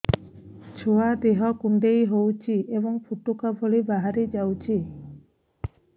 ଛୁଆ ଦେହ କୁଣ୍ଡେଇ ହଉଛି ଏବଂ ଫୁଟୁକା ଭଳି ବାହାରିଯାଉଛି